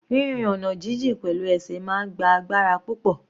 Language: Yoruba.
Rírin ọ̀nà jijìn pẹ̀lú ẹsẹ̀ máa ń gba agbára púpọ̀.